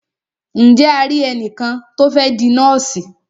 Ǹje a ri ẹnìkan tí o fẹ́ di nọ́ọ̀sì?